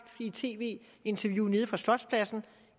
i tv interviewet fra slotspladsen